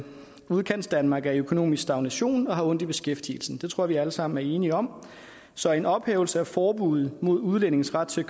udkantsdanmark er i økonomisk stagnation og har ondt i beskæftigelsen det tror jeg vi alle sammen er enige om så en ophævelse af forbuddet mod udlændinges ret til at